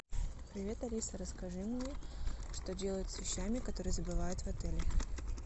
привет алиса расскажи мне что делают с вещами которые забывают в отеле